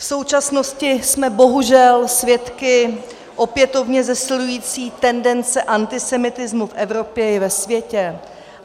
V současnosti jsme bohužel svědky opětovně zesilující tendence antisemitismu v Evropě i ve světě.